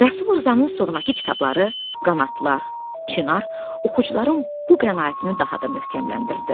Rəsul Rzanın sonrakı kitabları Qanadlar, Çinar oxucuların bu qənaətini daha da möhkəmləndirdi.